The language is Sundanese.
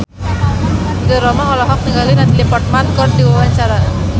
Ridho Roma olohok ningali Natalie Portman keur diwawancara